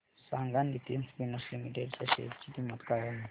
सांगा Nitin spinners limited च्या share ची किंमत काय आहे